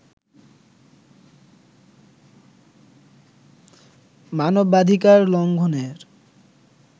মানবাধিকার লঙ্ঘনের